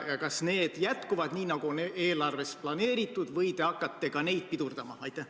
Kas need jätkuvad nii, nagu on eelarves planeeritud, või te hakkate ka neid pidurdama?